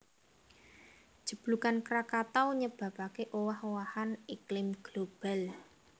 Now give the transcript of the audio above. Jeblugan Krakatau nyebabaké owah owahan iklim global